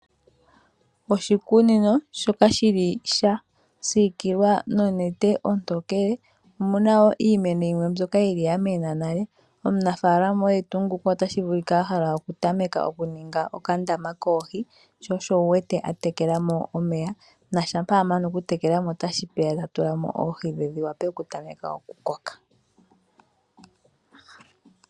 Oshikunino shoka shili sha siikilwa nonete ontokele omuna woo iimeno yimwe mbyoka yili yamena nale, omunafaalama oye tuu nguka otashi vulika ahala okutameka okuninga okandama koohi sho osho wuwete atekela mo omeya, na shampa amana okutekela mo omeya otashi peya tatula mo oohi dhe dhiwape okutameka okukoka.